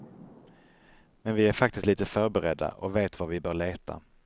Men vi är faktiskt lite förberedda, och vet var vi bör leta.